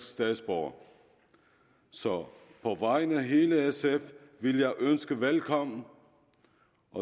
statsborgere så på vegne af hele sf vil jeg ønske dem velkommen